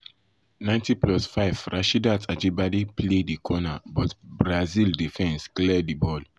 90+5 rasheedat ajibade play di corner but brazil defence clear defence clear di ball.